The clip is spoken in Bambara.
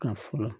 Ka fura